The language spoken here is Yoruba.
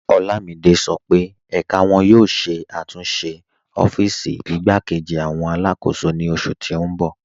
Olamide sọ pe ẹká wọn yóò ṣẹ̀ àtúnṣe ọ́fíìsì ìgbàkẹ̀jì awọn aláàkọ́sò ni oṣù tì n bọ̀.